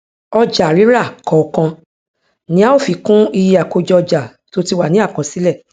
ọjàrírà kọọkan ni a ó fi kún iye àkójọọjà tó ti wà ní àkọsílẹ